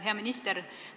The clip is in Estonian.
Hea minister!